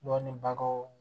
Dɔnni bagaw